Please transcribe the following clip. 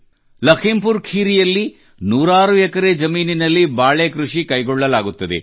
ಲಖೀಂಪುರ್ ಖೀರಿಯಲ್ಲಿ ಸಾವಿರಾರು ಎಕರೆ ಜಮೀನಿನಲ್ಲಿ ಬಾಳೆ ಕೃಷಿ ಕೈಗೊಳ್ಳಲಾಗುತ್ತದೆ